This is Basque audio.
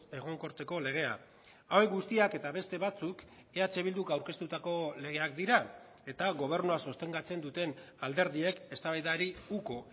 egonkortzeko legea hauek guztiak eta beste batzuk eh bilduk aurkeztutako legeak dira eta gobernua sostengatzen duten alderdiek eztabaidari uko